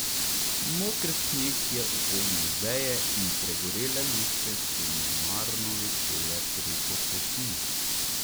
Moker sneg je upognil veje in pregorele lučke so nemarno visele preko poti.